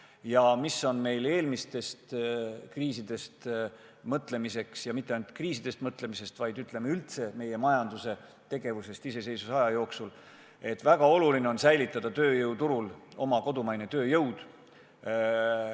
Ja mõeldes eelmistele kriisidele – ja mitte ainult kriisidele, vaid üldse meie iseseisvusaegsele majandusele –, siis on väga oluline säilitada tööjõuturul oma kodumaine tööjõud.